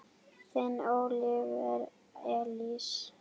Þinn Óliver Elís.